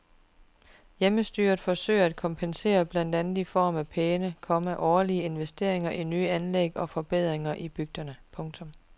Hjemmestyret forsøger at kompensere blandt andet i form af pæne, komma årlige investeringer i nye anlæg og forbedringer i bygderne. punktum